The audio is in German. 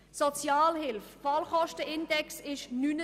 Der Fallkostenindex beträgt 79.